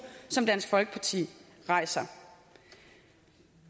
som dansk folkeparti rejser